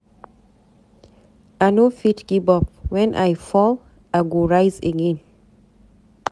I no fit give up, wen I fall, I go rise again.